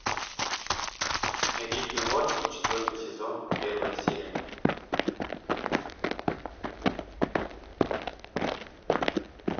рик и морти четвертый сезон первая серия